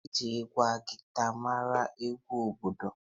Eji ngwa guiter mara egwu obodo